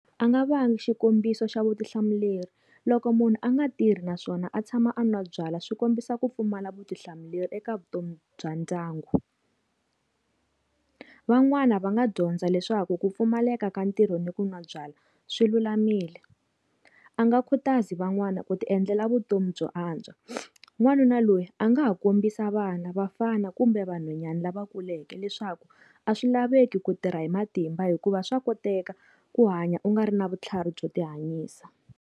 A nga va nga xikombiso xa vutihlamuleri loko, munhu a nga tirhi naswona a tshama a n'wa byala swi kombisa ku pfumala vutihlamuleri eka vutomi bya ndyangu. Van'wani va nga dyondza leswaku ku pfumaleka ka ntirho ni ku n'wa byala swilulamile, a nga khutaza van'wana ku ti endlela vutomi byo antswa n'wanuna loyi a nga ha kombisa vana vafana kumbe van'wanyana lava kuleke leswaku a swilaveki ku tirha hi matimba hikuva swa koteka ku hanya u nga ri na vutlhari byo tihanyisa.